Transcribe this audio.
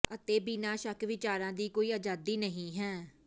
ਅਤੇ ਬਿਨਾਂ ਸ਼ੱਕ ਵਿਚਾਰਾਂ ਦੀ ਕੋਈ ਆਜ਼ਾਦੀ ਨਹੀਂ ਹੈ